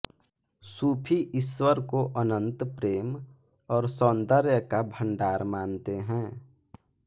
सूफी ईश्वर को अनंत प्रेम और सौंदर्य का भंडार मानते हैं